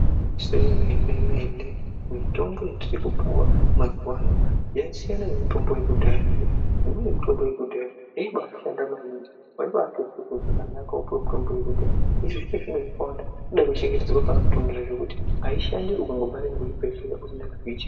Zvemene mene mitombo yatiri kupuwa mazuva ano yasiyana nemitombo yekudhaya ngekuti imweni mitombo yekudhaya yaibashanda maningi waibatonzwa zvakanaka kana wapuwa mutombo yekudhaya hino inobada kuchengetedzwa ngekuti aishandi ukangobva kuchibhedhlera usina kuchengetedza.